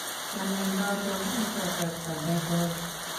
kianai noton eng' kasarta negoi